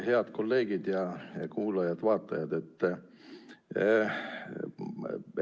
Head kolleegid ja kuulajad-vaatajad!